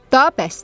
Daha bəsdir.